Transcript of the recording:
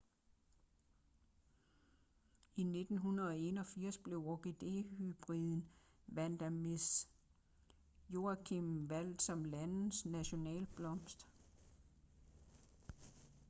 i 1981 blev orkidehybriden vanda miss joaquim valgt som landets nationalblomst